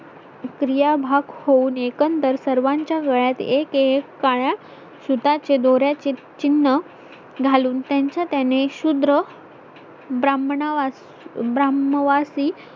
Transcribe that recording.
प्रक्रिया भाग होऊन एकंदर सर्वांच्या वेळात एक एक काळ्या सूताचे दोर्‍याचे चिन्ह घालून त्यांचा त्याने शुद्र ब्राह्मणात ब्राह्मवासी